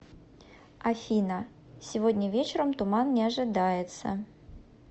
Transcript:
афина сегодня вечером туман не ожидается